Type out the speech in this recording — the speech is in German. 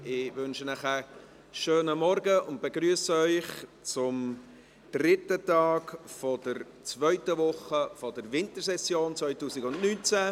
Ich wünsche Ihnen einen schönen Morgen und begrüsse Sie zum dritten Tag der zweiten Woche der Wintersession 2019.